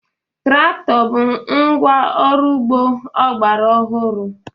Traktọ bụ ngwá ọrụ ugbo ọgbara ọhụrụ.